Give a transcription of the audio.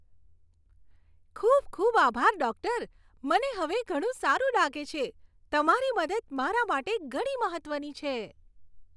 ખૂબ ખૂબ આભાર, ડૉક્ટર! મને હવે ઘણું સારું લાગે છે. તમારી મદદ મારા માટે ઘણી મહત્વની છે.